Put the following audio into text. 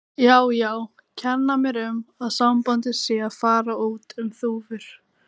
Já, já, kenna mér um að sambandið sé að fara út um þúfur.